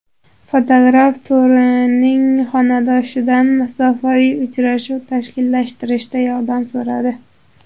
Fotograf Torining xonadoshidan masofaviy uchrashuv tashkillashtirishda yordam so‘radi.